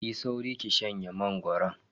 Yi sauri ki shanye mangoron.